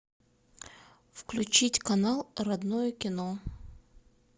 включить канал родное кино